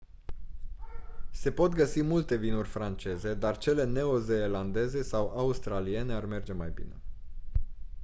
se pot găsi multe vinuri franceze dar cele neo-zeelandeze sau australiene ar merge mai bine